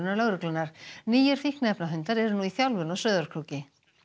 lögreglunnar nýir fíkniefnahundar eru nú í þjálfun á Sauðárkróki